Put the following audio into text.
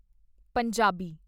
Punjabi